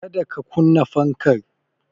Kada ka kunna fankar